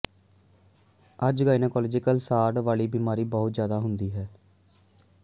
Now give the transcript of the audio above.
ਅੱਜ ਗਾਇਨੇਕੋਲਾਜਿਕ ਸਾੜ ਵਾਲੀ ਬਿਮਾਰੀ ਬਹੁਤ ਜ਼ਿਆਦਾ ਹੁੰਦੀ ਹੈ